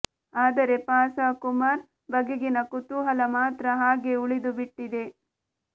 ಆದರೆ ಪ ಸ ಕುಮಾರ್ ಬಗೆಗಿನ ಕುತೂಹಲ ಮಾತ್ರ ಹಾಗೇ ಉಳಿದುಬಿಟ್ಟಿದೆ